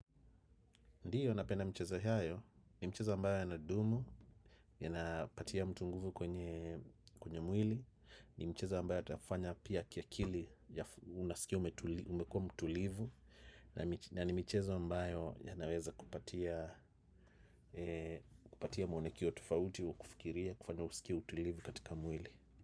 Ndiyo napenda mchezo hayo, ni mchezo ambayo yanadumu, yanapatia mtu nguvu kwenye mwili, ni mchezo ambao atafanya pia kia kili unasikia umekua mtulivu, na ni michezo ambayo ya naweza kupatia muonekio tofauti, kufikiria, kufanya usikie mtulivu katika mwili.